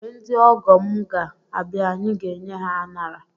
Mgbe ndị ọgọ m ga abịa anyị ga enye ha anara